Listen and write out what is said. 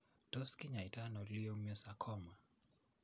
Tos kinyaita ano Leiomyosarcoma?